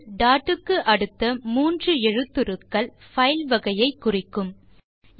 க்கு அடுத்த கடைசி 3 எழுத்துருக்கள் பைல் வகையை குறிக்கும் பின்னொட்டு